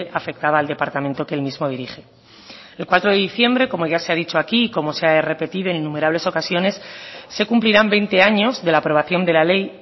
afectaba al departamento que el mismo dirige el cuatro de diciembre como ya se ha dicho aquí y como se ha repetido en innumerables ocasiones se cumplirán veinte años de la aprobación de la ley